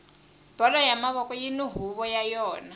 bolo ya mavoko yini huvo ya yona